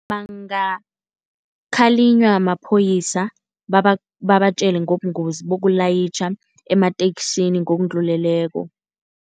Bangakhalinywa maphoyisa babatjele ngobungozi bokulayitjha emateksini ngokudluleleko.